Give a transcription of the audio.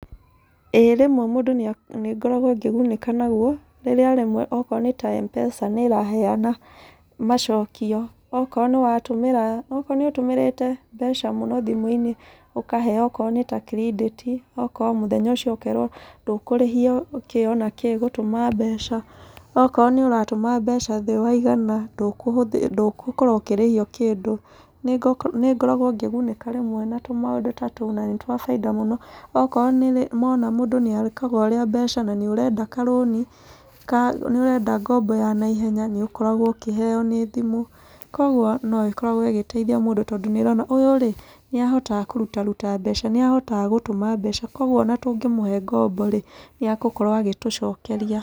ĩĩ rĩmwe mũndũ nĩ nĩ ngoragwo ngĩgunĩka naguo. Rĩrĩa rĩmwe okorwo nĩ ta M-pesa nĩ ĩraheana macokio. Okorwo nĩ watũmĩra, okorwo nĩ ũtũmĩrĩte mbeca mũno thimũ-inĩ, ũkaheo okoro nĩ ta kirĩndĩti, okorwo mũthenya ũcio ũkerwo ndũkũrĩhio, kĩ ona kĩ gũtũma mbeca. Okorwo nĩ ũratũma mbeca thĩ wa igana, ndũkũhũthĩra ndũgũkorwo ũkĩrĩhio kĩndũ. Nĩ ngoragwo ngĩgunĩka rĩmwe na tũmaũndũ ta tũu, na nĩ twa baida mũno. Okorwo mona mũndũ nĩ ekaga ũrĩa mbeca na nĩ ũrenda karũni, ka nĩ ũrenda ngomba ya naihenya, nĩ ũkoragwo ũkĩheo nĩ thimũ. Kũguo no ĩkoragwo ĩgĩteithia mũndũ tondũ nĩ ĩrona, ũyũ rĩ, nĩ ahotaga kũrutaruta mbeca nĩ ahotaga gũtũma mbeca. Kũguo ona tũngĩmũhe ngombo rĩ, nĩ egũkorwo agĩtũcokeria.